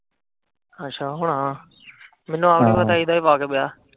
ਅੱਛਾ ਹੁਣਾ ਆ ਮੈਨੂੰ ਆਪ ਨੀ ਪਤਾ ਏਦਾ ਹੀ ਵਾਕਵ ਐ।